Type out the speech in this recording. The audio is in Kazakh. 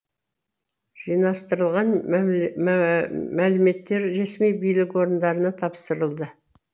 жинастырылған мәліметтер ресми билік орындарына тапсырылды